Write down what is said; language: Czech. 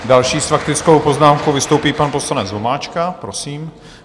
Další s faktickou poznámkou vystoupí pan poslanec Vomáčka, prosím.